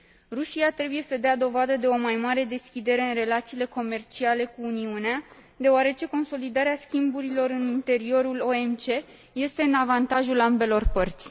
Rusia trebuie să dea dovadă de o mai mare deschidere în relațiile comerciale cu Uniunea, deoarece consolidarea schimburilor în interiorul OMC este în avantajul ambelor părți.